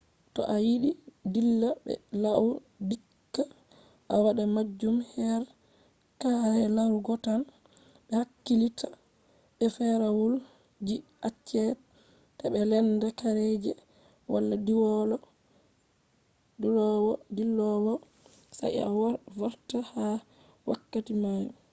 to a yidi dilla be lau dikka a wata majun her kare larugo tan. be hakkilitta be ferawaul ji acce ta be lenda kare je wala dilowo sai a vorta ha wakkati mai